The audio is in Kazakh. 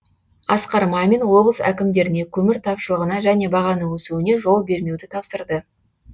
асқар мамин облыс әкімдеріне көмір тапшылығына және бағаның өсуіне жол бермеуді тапсырды